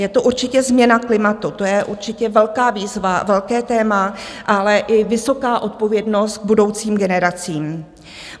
Je to určitě změna klimatu, to je určitě velká výzva, velké téma, ale i vysoká odpovědnost k budoucím generacím.